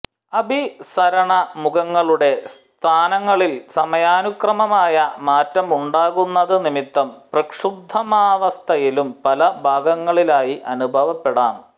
അഭിസരണ മുഖങ്ങളുടെ സ്ഥാനങ്ങളിൽ സമയാനുക്രമമായ മാറ്റമുണ്ടാകുന്നതു നിമിത്തം പ്രക്ഷുബ്ധാവസ്ഥയും പല ഭാഗങ്ങളിലായി അനുഭവപ്പെടാം